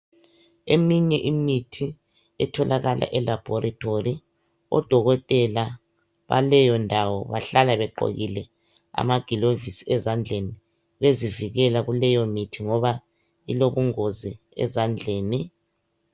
Eminye imithi etholakala elabhorithori odokotela baleyo ndawo bahlala begqokile amaglovisi ezandleni bezivikela kuleyo mithi ngoba ilobungozi ezandleni.